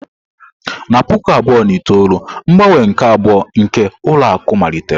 Na puku abụọ na itoolu, mgbanwe nke abụọ nke ụlọ akụ malitere.